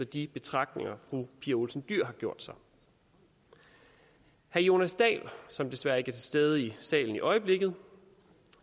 de betragtninger fru pia olsen dyhr har gjort sig herre jonas dahl som desværre ikke er til stede i salen i øjeblikket